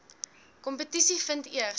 kompetisie vind eers